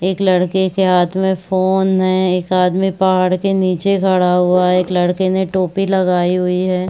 एक लड़के के हाथ में फोन है एक आदमी पहाड़ के नीचे खड़ा हुआ है एक लड़के ने टोपी लगायी हुई है।